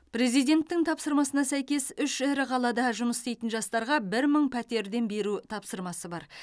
президенттің тапсырмасына сәйкес үш ірі қалада жұмыс істейтін жастарға бір мың пәтерден беру тапсырмасы бар